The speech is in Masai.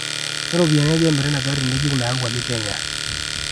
keropiyani aja emiri ina aari ngejuk nayauwaki kenya